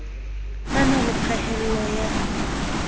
a na le phehello ya